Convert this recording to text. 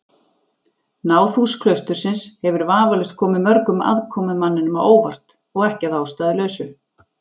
Náðhús klaustursins hefur vafalaust komið mörgum aðkomumanninum á óvart, og ekki að ástæðulausu.